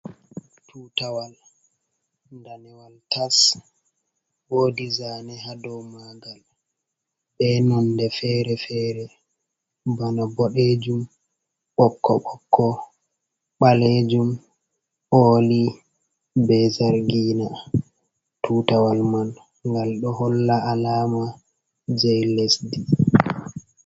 Tutawal daniwal tas, wodi zane hadow magal be nonde fere-fere, bana boɗejum, ɓokko-ɓokko, balejum, oli, be zargina. tutawal man ngal ɗo holla alama jei lesdi.